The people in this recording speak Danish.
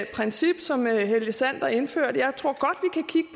princip som helge sander indførte